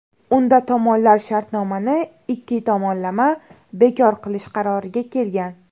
Unda tomonlar shartnomani ikki tomonlama bekor qilish qaroriga kelgan.